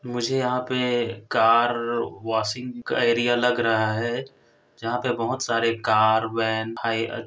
मुझे यहाँ पे कार वॉशिंग का एरिया लग रहा हैं जहाँ पे बहोत सारे कार वैन भाई अ--